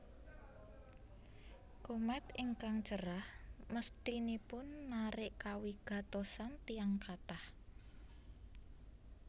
Komèt ingkang cerah mesthinipun narik kawigatosan tiyang kathah